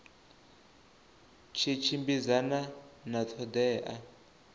tshi tshimbidzana na ṱho ḓea